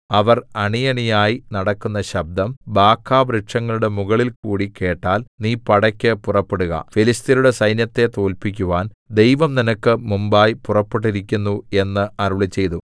അവർ അണിയണിയായി നടക്കുന്ന ശബ്ദം ബാഖാവൃക്ഷങ്ങളുടെ മുകളിൽകൂടി കേട്ടാൽ നീ പടയ്ക്കു പുറപ്പെടുക ഫെലിസ്ത്യരുടെ സൈന്യത്തെ തോല്പിക്കുവാൻ ദൈവം നിനക്ക് മുമ്പായി പുറപ്പെട്ടിരിക്കുന്നു എന്നു അരുളിച്ചെയ്തു